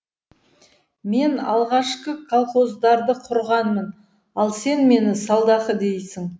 мен алғашқы колхоздарды құрғанмын ал сен мені салдақы дейсің